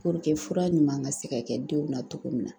fura ɲuman ka se ka kɛ denw na togo min na